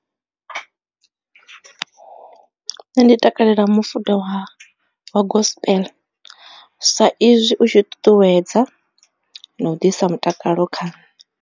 Nṋe ndi takalela mufuda wa wa gospel sa izwi u tshi ṱuṱuwedza na u ḓisa mutakalo kha.